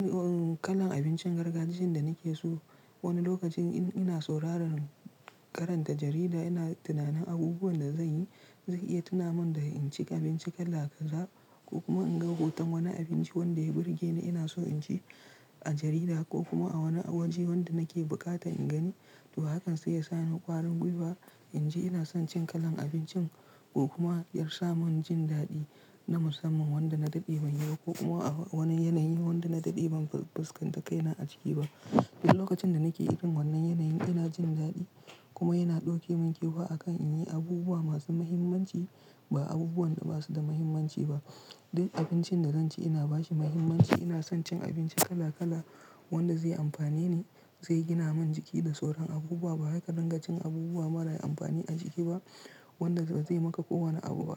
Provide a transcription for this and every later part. Kalan abincin gargajiyan da nake so. Wani lokacin in ina sauraran, karanta jarida, ina tunanin abubuwan da zan yi zai iya tuna min da in ci abinci kala kaza ko kuma in ga hoton wani abinci wanda ya burge ni. Ina so in ci a jarida ko kuma a wani waje wanda nake buƙatan in gani. To, hakan zai sa ni ƙwarin gwiwa. In ji ina son cin kalan abincin ko kuma ya sa mun jin daɗi na musamman wanda na daɗe ban yi ba ko kuma a wani yanayin wanda na daɗe ban fuskanta kai na a ciki ba. Duk lokacin da nake irin wannan yanayin ina jin daɗi kuma yana ɗauke mun kifa akan in yi abubuwa masu mahimmanci ba abubuwan da ba su da mahimmanci ba. Duk abincin da zan ci ina ba shi mahimmanci. Ina son cin abinci kala kala wanda zai amfane ni, zai gina min jiki da sauran abubuwa ba wai ka dingacin abubuwa mara amfani a jiki ba wanda ba zai maka kowane abu ba.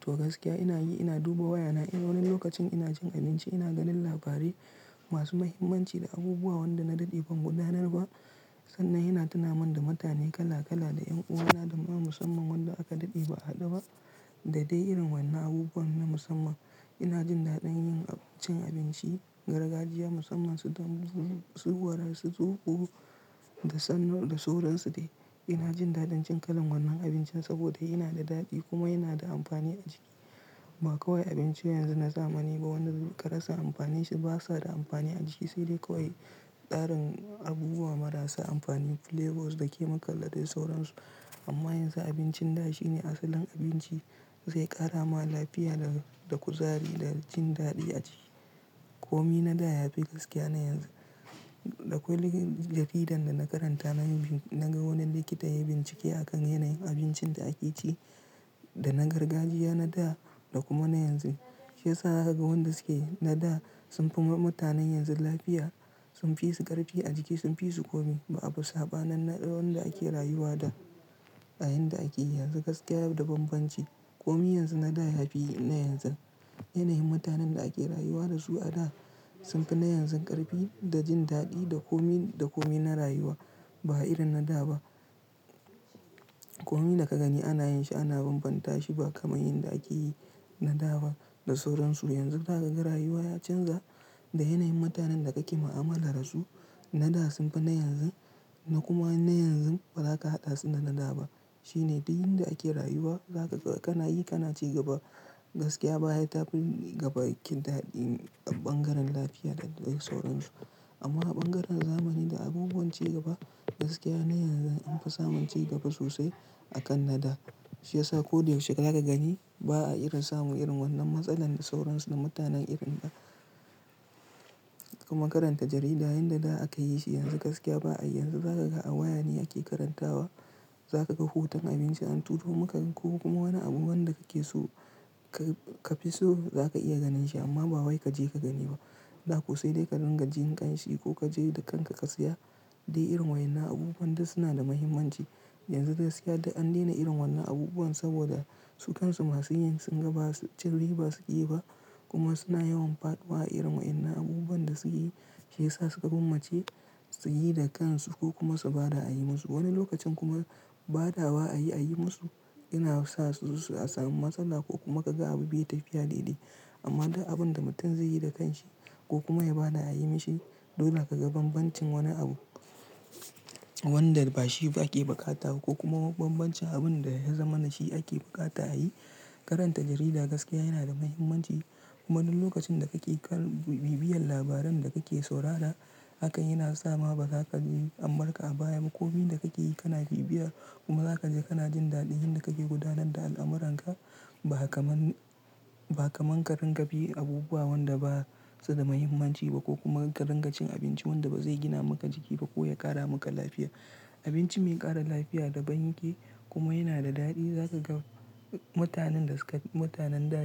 To gaskiya ina yi ina duba wayana. In wani lokacin ina cin abinci, ina ganin labarai masu mahimmanci da abubuwa wanda na daɗe ban gudanar ba sannan yana tuna min da mutane kala kala da ƴan uwa na da ma musamman wanda aka daɗe ba a haɗu ba. Da dai irin wannan abubuwan na musamman. Ina jin daɗin yin cin abinci gargajiya musamman su dambu, su warar tsaki, da sannan da sauransu dai. Ina jin daɗin cin kalan wannan abincin saboda yana da daɗi kuma yana da amfani a jiki. Ba kawai abincin yanzu na zamani ba wanda ka rasa amfanin shi ba su da amfani a jiki. Sai dai kawai tsarin abubuwa marasa amfani, flavors da chemical da dai sauransu. Amma yanzu abincin ɗa shine asalin abinci zai ƙara ma lafiya da, da kuzari da jin daɗi a jiki. Komi na da ya fi gaskiya na yanzu. Dakwai jaridan da na karanta na yi, na ga wani likita ya bincike akan yanayin abincin da ake ci da na gargajiya na da da kuma na yanzu. Shi ya sa zaka ga wanda suke na da sun fi ma mutanen yanzu lafiya, sun fi su ƙarfi a jiki, sun fi su komi. Ba abu saɓa nin na wanda ake rayuwa da a yayin da ake yi yanzu gaskiya da banbanci. Komi yanzu na da ya fi na yanzu. Yanayin mutanen da ake rayuwa da su a da sun fi na yanzu ƙarfi da jin daɗi da komi, da komi na rayuwa ba irin na da ba. Komi da ka gani ana yin shi, ana banbanta shi ba kamar yanda ake yi na da ba da sauransu. Yanzu zaka ga rayuwa ya canza da yanayin mutanen da kake mu'amala da su. Na da sun fi na yanzu na kuma na yanzu ba za ka haɗa su da na da ba. Shi ne duk yan da ake rayuwa. Za kaga, kana yi, kana ci gaba gaskiya baya tafi gaba kin daɗi a ɓangaren lafiya da dai sauransu. Amma a ɓangaren zamani da abubuwan ci gaba gaskiya na yanzu an fi samun cigaba sosai a kan na da. Shi ya sa ko da yaushe za ka gani ba a irin samu irin wannan matsalar sauransu da mutanen irin na da. Kuma karanta jarida yayin da da aka yi shi yanzu gaskiya ba a yi. Yanzu za ka ga a waya ne ake karantawa. Za ka ga hoton abinci an turo maka ko kuma wani abu wanda ka ke so ka, ka fi so za ka iya ganin shi amma ba wai ka je ka gani ba. Dako sai dai ka dinga jin ƙanshi ko ka je da kanka ka saya. Dai irin waɗannan abubuwan da suna da mahimmanci yanzu gaskiya duk an daina irin wannan abubuwan saboda su kansu masu yin sun ga ba cin ri ba su ke yi ba kuma suna yawan faɗuwa a irin waɗannan abubuwan da suke yi. Shi ya sa suka gwammace su yi da kansu ko kuma su ba da a yi musu. Wani lokacin kuma ba da wa a yi a yi musu yana sa su, su su, a samu matsala ko kuma ka ga abu bai tafiya daidai. Amma duk abun da mutum zai yi da kanshi ko kuma ya ba da a yi mishi, dole ka ga banbancin wani abu wanda bashi ba ake buƙata wa ko kuma banbancin abun da ya zamanashi ake buƙata a yi. Karanta jarida gaskiya yana da mahimmanci kuma duk lokacin da kake bi, biyan labaran da kake saurara hakan yana sa ma ba za ka ga an barka a baya ba. Komai da kake yi kana bibiyar kuma za ka je kana jin daɗin yan da kake gudanar da al'amuranka. Ba kamar, ba kaman ka ringa bi abubuwa wanda basu da mahimmanci ba ko kuma ka ringa cin abinci wanda bazai gina maka jiki ba ko ya ƙara maka lafiya. Abinci mai ƙara lafiya da ban yake kuma yana da daɗi. Za ka ga mutanen da suka, mutanen da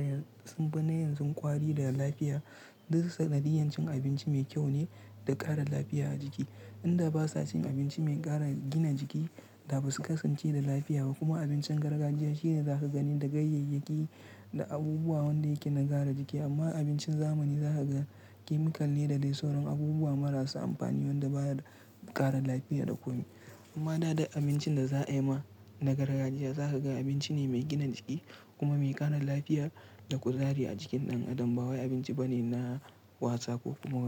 sun bi na yanzun ƙwari da lafiya. Duk sanadiyar cin abinci mai kyau ne da ƙara lafiya a jiki. Inda basa cin abinci mai ƙara gina jiki da ba su kasance da lafiya ba kuma abincin gargajiya shine za ka gani da gayyayyaki da abubuwa wanda yake nagyara jiki. Amma abincin zamani za ka ga chemical ne da dai sauran abubuwa marasa amfani wanda baya ƙara lafiya da komi. Amma da duk abincin da za ayi ma na gargajiya za ka ga abinci ne mai gina jiki kuma mai ƙara lafiya da kuzari a jikin ɗan adam ba wai abinci bane na wasa ko kuma wani.